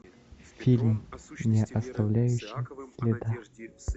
фильм не оставляющий следа